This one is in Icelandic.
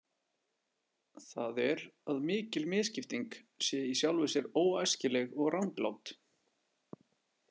Það er að mikil misskipting sé í sjálfu sér óæskileg og ranglát.